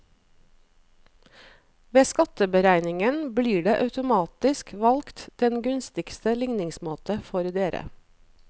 Ved skatteberegningen blir det automatisk valgt den gunstigste ligningsmåte for dere.